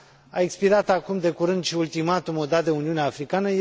A expirat acum, de curând, și ultimatumul dat de Uniunea Africană.